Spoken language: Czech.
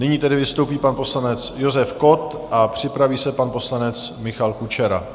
Nyní tedy vystoupí pan poslanec Josef Kott a připraví se pan poslanec Michal Kučera.